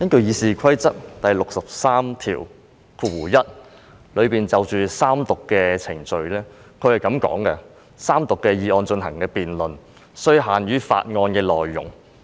《議事規則》第631條就三讀程序所訂的規定是，"就該議案進行的辯論，須限於法案的內容"。